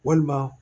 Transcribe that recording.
Walima